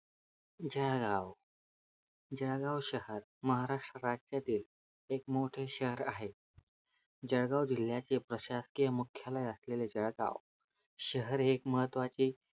जळगाव जळगाव शहर महाराष्ट्र राज्यातील एक मोठे शहर आहे जळगाव जिल्यातील प्रशासकीय मुख्यालय असलेले जळगाव शहर एक महत्वाचे